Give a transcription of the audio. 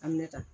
A minɛ ta